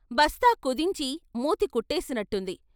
బస్తా కుదించి మూతి కుట్టేసినట్టుంది.